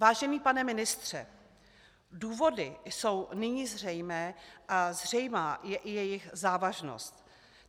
Vážený pane ministře, důvody jsou nyní zřejmé a zřejmá je i jejich závažnost.